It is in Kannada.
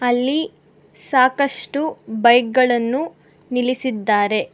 ಇಲ್ಲಿ ಸಾಕಷ್ಟು ಬೈಕ್ ಗಳನ್ನು ನಿಲ್ಲಿಸಿದ್ದಾರೆ.